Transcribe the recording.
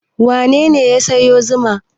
Wane ne ya sayo zuma?